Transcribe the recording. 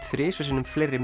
þrisvar sinnum fleiri